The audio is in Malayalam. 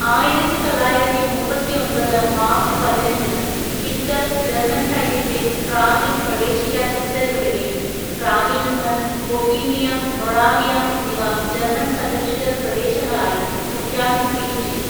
ആയിരത്തിതൊള്ളായിരത്തിമുപ്പത്തിയൊമ്പത് മാർച്ച് പതിനഞ്ചിന് ഹിറ്റ്ലർ ജർമ്മൻ സൈന്യത്തെ പ്രാഗിൽ പ്രവേശിക്കാൻ ഉത്തരവിടുകയും പ്രാഗിൽ നിന്ന് ബൊഹീമിയ, മൊറാവിയ എന്നിവ ജർമ്മൻ സംരക്ഷിതപ്രദേശങ്ങളായി പ്രഖ്യാപിക്കുകയും ചെയ്തു.